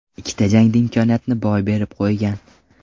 Ikkita jangda imkoniyatni boy berib qo‘ygan.